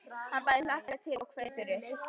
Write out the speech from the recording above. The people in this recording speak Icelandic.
Hann bæði hlakkaði til og kveið fyrir.